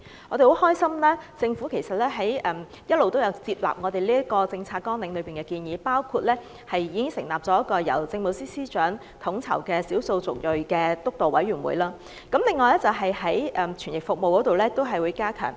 我們很高興，政府一直都有接納我們這份政策綱領中的建議，包括已成立了一個由政務司司長統籌的少數族裔督導委員會；另外亦會加強傳譯服務。